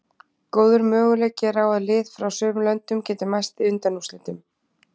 Góður möguleiki er á að lið frá sömu löndum geti mæst í undanúrslitunum.